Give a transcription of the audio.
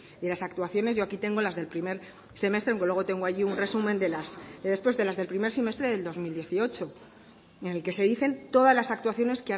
y de las actuaciones yo aquí tengo las del primer semestre aunque luego allí tengo un resumen de las del primer semestre del dos mil dieciocho en el que se dicen todas las actuaciones